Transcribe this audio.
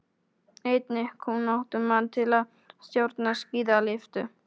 Einnig kunnáttumann til að stjórna skíðalyftu.